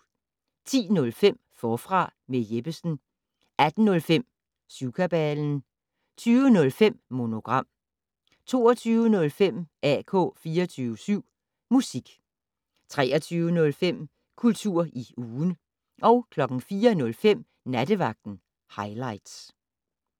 10:05: Forfra med Jeppesen 18:05: Syvkabalen 20:05: Monogram 22:05: AK 24syv Musik 23:05: Kultur i ugen 04:05: Nattevagten Highligts